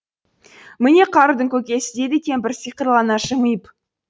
міне қарудың көкесі дейді кемпір сиқырлана жымиып